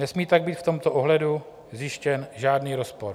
Nesmí tak být v tomto ohledu zjištěn žádný rozpor.